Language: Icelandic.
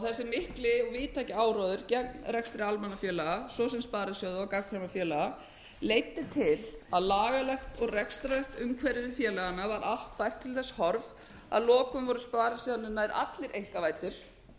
þessi mikli og víðtæki áróður gegn rekstri almannafélaga svo sem sparisjóða og gagnkvæmra félaga leiddi til að lagalegt og rekstrarlegt umhverfi félaganna var allt bætt til þess horfs að lokum voru sparisjóðirnir nær allir einkavæddir